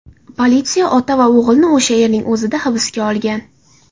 Politsiya ota va o‘g‘ilni o‘sha yerning o‘zida hibsga olgan.